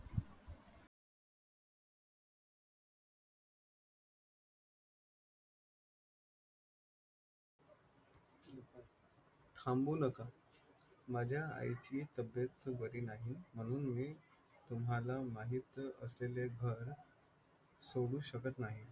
थांबू नका, माझ्या आईची तब्बेत बारी नाही म्हणून मी तुम्हाला माहित सोडू शकत नाही